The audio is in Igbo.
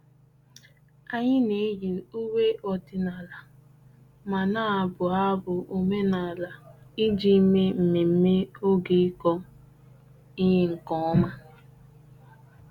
Anyị na-eyi uwe ọdịnala ma na-abụ abụ omenala iji mee mmemme oge ịkọ ihe nke ọma.